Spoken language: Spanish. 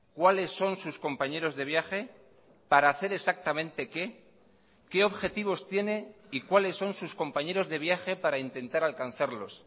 cuáles son sus compañeros de viaje para hacer exactamente qué qué objetivos tiene y cuáles son sus compañeros de viaje para intentar alcanzarlos